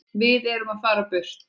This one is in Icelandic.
Við erum að fara burt.